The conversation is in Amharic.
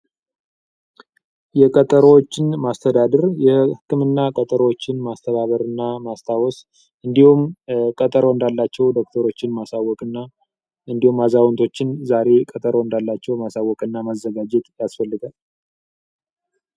ቀጠሮዎችን ማስተባበር፣ የህክምና ቀጠሮዎችን ማስተባበር ያስፈልጋል እንዲሁም አዛውንቶችንም ዛሬ የህክምና ቀጠሮ እንዳላቸዉ ማሳዎቅ ያስፈልጋል።